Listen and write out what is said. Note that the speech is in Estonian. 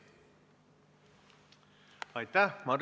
Aitäh!